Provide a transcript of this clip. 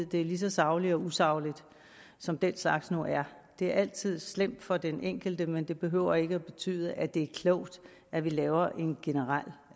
det er lige så sagligt eller usagligt som den slags nu er det er altid slemt for den enkelte men det behøver ikke at betyde at det er klogt at vi laver en generel